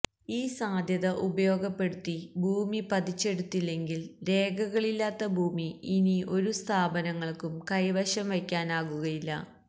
ഈ സാധ്യത ഉപയോഗപ്പെടുത്തി ഭൂമി പതിച്ചെടുത്തില്ലെങ്കിൽ രേഖകളില്ലാത്ത ഭൂമി ഇനി ഒരു സ്ഥാപനങ്ങൾക്കും കൈവശം വയ്ക്കാനുമാകില്ല